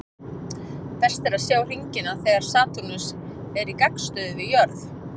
Best er að sjá hringina þegar Satúrnus er í gagnstöðu við jörð.